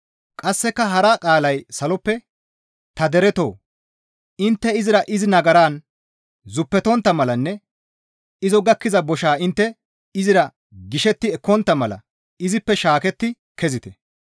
Qasseka hara qaalay saloppe, «Ta deretoo! Intte izira izi nagaran zuppetontta malanne izo gakkiza boshaa intte izira gishetti ekkontta mala izippe shaaketti kezite.